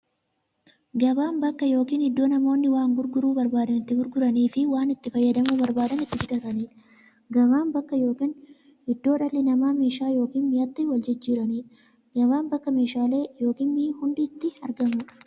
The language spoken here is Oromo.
Gabaan bakka yookiin iddoo namoonni waan gurguruu barbaadan itti gurguraniifi waan itti fayyadamuu barbaadan itti bitataniidha. Gabaan bakka yookiin iddoo dhalli namaa meeshaa yookiin mi'a itti waljijjiiraniidha. Gabaan bakka meeshaaleen ykn mi'i hundi itti argamuudha.